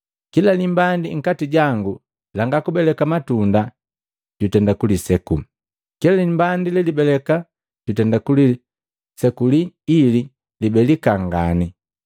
Kila limbandi nkati jangu langa kubeleka matunda jutenda kuliseku. Kila limbandi lelibeleka jutenda kulisekuli ili libelika ngani.